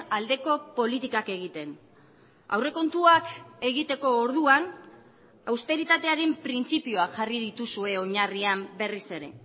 aldeko politikak egiten aurrekontuak egiteko orduan austeritatearen printzipioa jarri dituzue oinarrian berriz ere